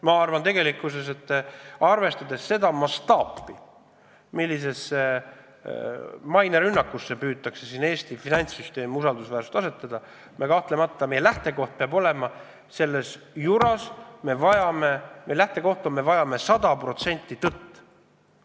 Ma arvan, et arvestades seda mastaapset mainerünnakut, millega püütakse Eesti finantssüsteemi usaldusväärsust vähendada, peab meie lähtekoht kahtlemata olema see, et me vajame sada protsenti tõtt.